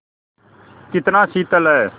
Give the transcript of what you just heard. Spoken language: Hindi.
कितना शीतल है